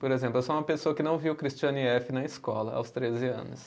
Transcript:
Por exemplo, eu sou uma pessoa que não viu Christiane efe. na escola, aos treze anos.